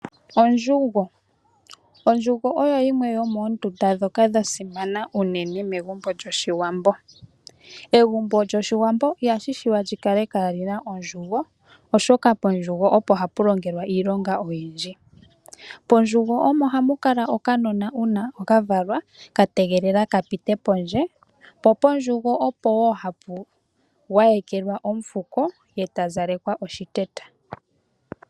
Ondjugo. Ondjugo oyo yimwe yomoondunda ndhoka dha simana unene megumbo lyOshiwambo. Egumbo lyOshiwambo ihashi shiwa lyi kale kaalina ondjugo, oshoka pondjugo opo hapu longelwa iilonga oyindji. Mondjugo omo hamu kala okanona uuna kavalwa ka tegelela ka pite pondje, po pondjugo opo woo hapu gwayekelwa omufuko eta zalekwa oshiteta.